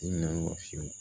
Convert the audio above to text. Ti na fiyewu